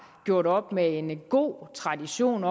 gjort op med en god tradition